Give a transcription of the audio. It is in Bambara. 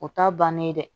O t'a bannen ye dɛ